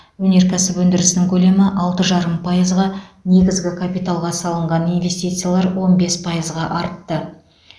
өнеркәсіп өндірісінің көлемі алты жарым пайызға негізгі капиталға салынған инвестициялар он бес пайызға артты